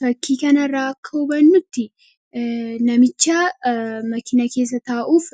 fakkii kanaraa kan nuti namicha makiina keessa taa'uuf